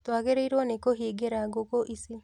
Twagĩrĩirwo nĩ kũhingĩra ngũkũ ici